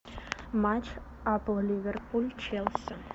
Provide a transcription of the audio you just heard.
матч апл ливерпуль челси